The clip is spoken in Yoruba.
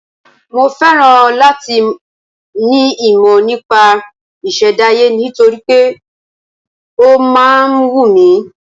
Mo féràn láti ní ìmọ̀ nípa ìṣẹ̀dáyé nítorí pé ó máa ń wù mí.